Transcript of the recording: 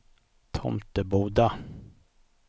Tomteboda